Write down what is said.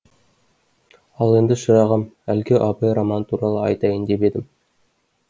ал енді шырағым әлгі абай романы туралы айтайын деп ем